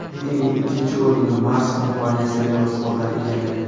Reytingning ikkinchi o‘rnini Mars kompaniyasi merosxo‘rlari egallagan.